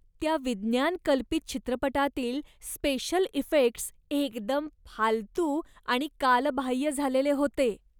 त्या विज्ञान कल्पित चित्रपटातील स्पेशल इफेक्ट्स एकदम फालतू आणि कालबाह्य झालेले होते.